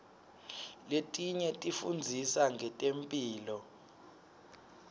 letinye tifundzisa ngetemphilo